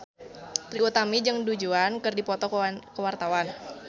Trie Utami jeung Du Juan keur dipoto ku wartawan